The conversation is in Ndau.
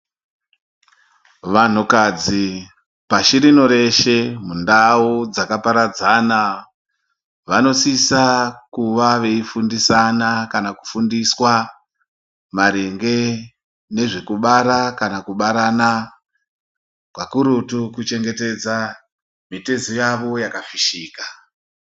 Vanhukadzi pashi rino reshe mundau dzakaparadzana, vanosisa kuva veifundisana kana kufundiswa maringe nezvekubara kana kubarana kakurutu kuchengetedza mitezo yavo yakafishika.